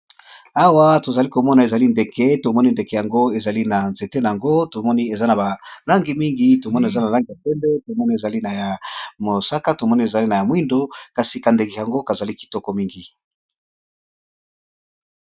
Awa tozali komona ezali bongo ndeke, pe ndeke yango ezali bongo na nzete